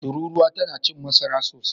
Turuwa tana cin masara sosai.